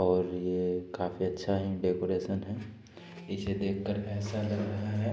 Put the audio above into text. और ये काफी अच्छा है डेकोरेशन है। इसे देख कर ऐसा लग रहा है